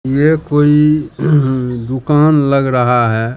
यह कोई दुकान लग रहा है।